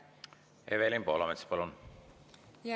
Evelin Poolamets, palun!